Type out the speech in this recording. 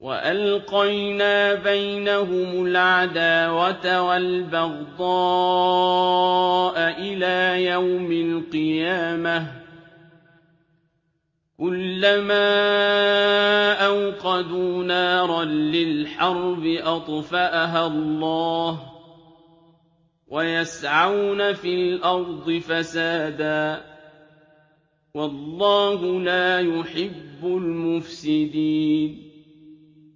وَأَلْقَيْنَا بَيْنَهُمُ الْعَدَاوَةَ وَالْبَغْضَاءَ إِلَىٰ يَوْمِ الْقِيَامَةِ ۚ كُلَّمَا أَوْقَدُوا نَارًا لِّلْحَرْبِ أَطْفَأَهَا اللَّهُ ۚ وَيَسْعَوْنَ فِي الْأَرْضِ فَسَادًا ۚ وَاللَّهُ لَا يُحِبُّ الْمُفْسِدِينَ